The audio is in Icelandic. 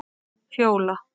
Fjóla